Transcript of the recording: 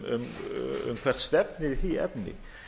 um hvert stefnir í því efni